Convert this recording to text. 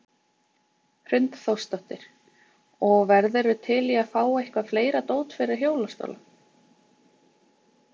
Hrund Þórsdóttir: Og værirðu til í að fá eitthvað fleira dót fyrir hjólastóla?